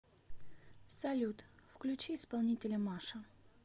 салют включи исполнителя маша